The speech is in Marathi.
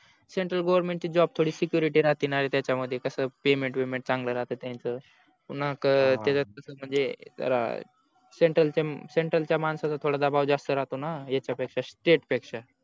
central government ची job security राहतेनरे त्याच्या मध्ये कस payment वेमेंट चांगला राहत त्यांच पुन्हा त्याच कस म्हणजे जरा central च्या central च्या मानसाच्या थोडा दबाव जास्त राहतो णा यच्या पेक्षा state पेक्षा